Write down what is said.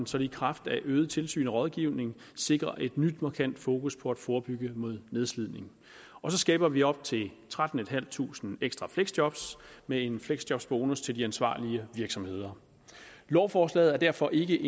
så de i kraft af øget tilsyn og rådgivning sikrer et nyt markant fokus på at forebygge nedslidning og så skaber vi op til trettentusinde og ekstra fleksjob med en fleksjobbonus til de ansvarlige virksomheder lovforslaget er derfor ikke